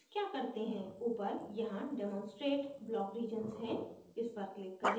ऊपर यहाँ demonstrate block regions है इस पर click करें